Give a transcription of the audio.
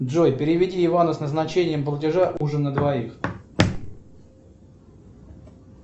джой переведи ивану с назначением платежа ужин на двоих